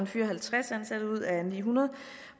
fyre halvtreds ansatte ud af ni hundrede